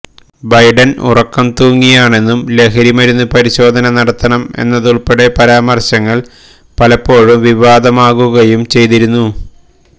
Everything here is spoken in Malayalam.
ബൈഡന് ഉറക്കം തൂങ്ങിയാണെന്നും ലഹരിമരുന്ന് പരിശോധന നടത്തണം എന്നതുള്പ്പെടെ പരാമര്ശങ്ങള് പലപ്പോഴും വിവാദമാകുകയും ചെയ്തിരുന്നു